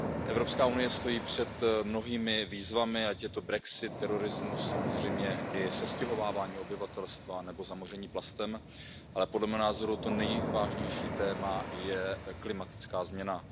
Evropská unie stojí před mnohými výzvami, ať je to brexit, terorismus, samozřejmě i sestěhovávání obyvatelstva nebo zamoření plastem, ale podle mého názoru to nejvážnější téma je klimatická změna.